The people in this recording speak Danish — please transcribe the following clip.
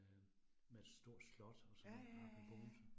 Øh med stort slot og sådan oppe i Bogense